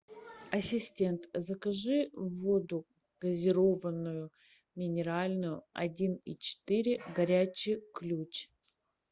ассистент закажи воду газированную минеральную один и четыре горячий ключ